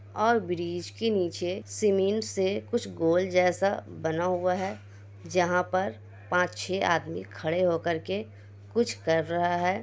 और ब्रिज के नीचे सीमेंट से कुछ गोल जैसा बना हुआ है जहाँ पर पांच छे आदमी खड़े होकर के कुछ कर रहा है।